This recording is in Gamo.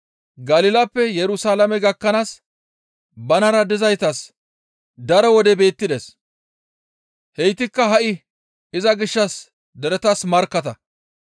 Galilappe Yerusalaame gakkanaas banara dizaytas daro wode beettides; heytikka ha7i iza gishshas deretas markkatta.